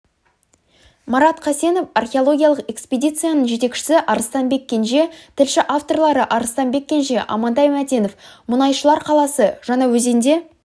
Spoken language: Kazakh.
марат қасенов археологиялық экспедицияның жетекшісі арыстанбек кенже тілші авторлары арыстанбек кенже амантай мәтенов мұнайшылар қаласы жаңаөзенде